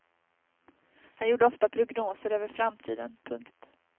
Han gjorde ofta prognoser över framtiden. punkt